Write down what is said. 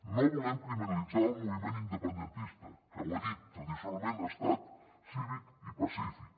no volem criminalitzar el moviment independentista que ho he dit tradicionalment ha estat cívic i pacífic